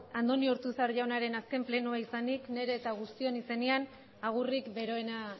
andoni ortuzar jaunaren azken plenoa izanik nire eta guztion izenean agurrik beroena